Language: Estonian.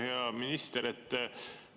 Hea minister!